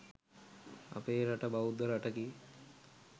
අපේ රට බෞද්ධ රටකි